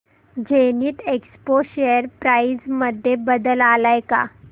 Zenith Expo share price मध्ये बदल आलाय का